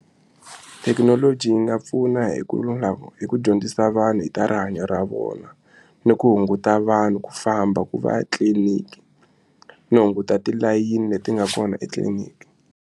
Thekinoloji yi nga pfuna hi ku hi ku dyondzisa vanhu hi ta rihanyo ra vona ni ku hunguta vanhu ku famba ku va ya tliliniki no hunguta tilayini leti nga kona etliliniki.